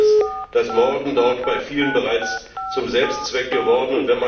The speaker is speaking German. Anscheinend ist das Morden dort bei vielen bereits zum Selbstzweck geworden.